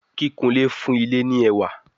Kìkunlé fún ilé ní ẹwà.